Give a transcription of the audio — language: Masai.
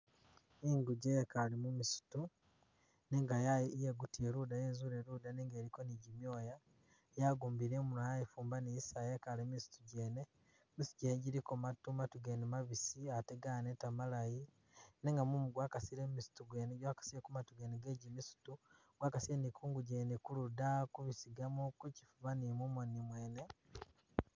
Inguje yekaale musitu nega yayi yegutile luuda yezule luda nenga iliko ni gimyoya yagumbile imunwa yayifumba ni zisaya yekale mumisitu gyene, misitu gyene giliko maatu gene mabisi ate ganeta malayi nenga mumu gwakasile mumisitu gyene gwakasile kumatu gene gegimisitu gwakasile ni kunguje yene kuluda, kubisigamo kuchifuba ni mumoni mwene.